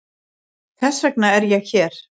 Þess vegna er ég hér.